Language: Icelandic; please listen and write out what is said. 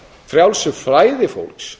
frjálsu flæði fólks